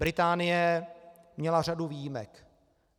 Británie měla řadu výjimek.